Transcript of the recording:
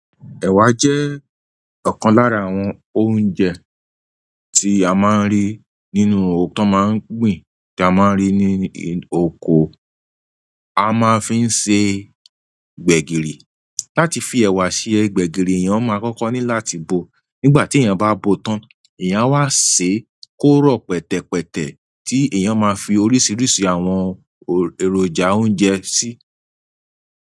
Ẹ̀wà jẹ́ ọ̀kan lára àwọn oúnjẹ tí a máa ń rí nínú ọ̀hun to máa ń gbìn tí a máa ń rí ní oko. A máa ń fi ń ṣe gbẹ̀gìrì. Láti fi ẹ̀wà ṣe gbẹ̀gìrì, èèyàn máa kọ́kọ́ ní láti bo. Nígbà tí èèyàn bá bo tán, èèyàn wá ṣe kóró pẹ̀tẹ̀pẹ̀tẹ̀ tí èèyàn máa fi oríṣiríṣi àwọn èròjà oúnjẹ sí.